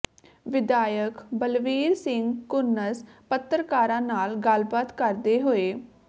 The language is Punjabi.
ਵਿਧਾਇਕ ਬਲਵੀਰ ਸਿੰਘ ਘੁੰਨਸ ਪੱਤਰਕਾਰਾਂ ਨਾਲ ਗੱਲਬਾਤ ਕਰਦੇ ਹੋਏ